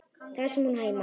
Þar sem hún á heima.